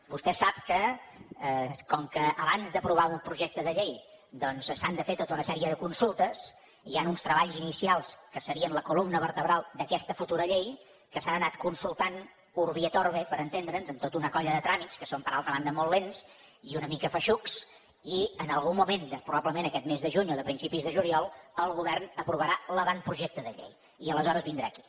tè sap que com que abans d’aprovar un projecte de llei doncs s’han de fer tota una sèrie de consultes hi han uns treballs inicials que serien la columna vertebral d’aquesta futura llei que s’han anat consultant urbi et orbi per entendre’ns en tota una colla de tràmits que són per altra banda molt lents i una mica feixucs i en algun moment probablement d’aquest mes de juny o de principis de juliol el govern aprovarà l’avantprojecte de llei i aleshores vindrà aquí